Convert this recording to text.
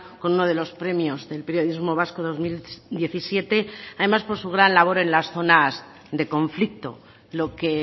con uno de los premios del periodismo vasco dos mil diecisiete además por su gran labor en las zonas de conflicto lo que